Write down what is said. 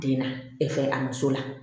Den na a muso la